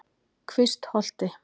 Kvistholti